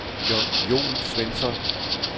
Jon Svensson